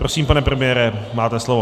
Prosím, pane premiére, máte slovo.